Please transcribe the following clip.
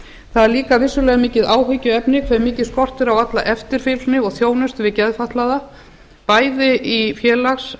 það er líka vissulega mikið áhyggjuefni hve skortir mikið á alla eftirfylgni og þjónustu við geðfatlaða bæði í félags